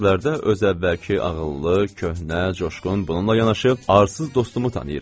Mən bu sözlərdə öz əvvəlki ağıllı, köhnə, coşqun, bununla yanaşı arsız dostumu tanıyıram.